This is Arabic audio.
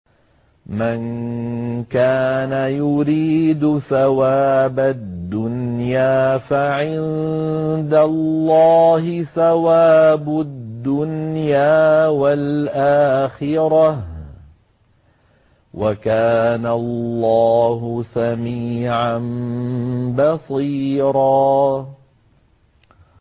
مَّن كَانَ يُرِيدُ ثَوَابَ الدُّنْيَا فَعِندَ اللَّهِ ثَوَابُ الدُّنْيَا وَالْآخِرَةِ ۚ وَكَانَ اللَّهُ سَمِيعًا بَصِيرًا